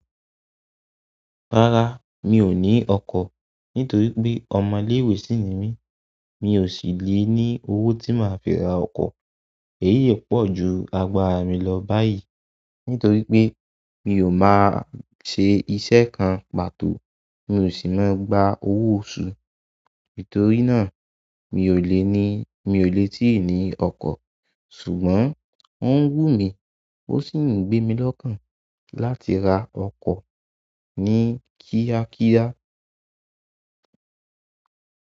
Rárá, mi ò ní ọkọ̀ nítorí pé ọmọ iléwé sí ni mí, mi ò sì lè ní owó tí máa fi ra ọkọ̀. Èyíi pọ̀ ju agbára mi lọ báyìí nítorí pé mi ò máa ṣe iṣẹ́ kan pàtó, mi ò sì máa ń gba owó oṣù. Nítorí náà mi ò lè ní, mi ò lè tí ì ní ọkọ̀. Ṣùgbọ́n ó ń wù mí o sì ń gbé mi lọ́kàn láti ra ọkọ̀ ní kíákíá.